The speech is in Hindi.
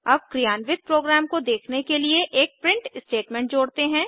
अब क्रियान्वित प्रोग्राम को देखने के लिए एक प्रिंट स्टेटमेंट जोड़ते हैं